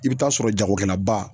I be taa sɔrɔ jagokɛlaba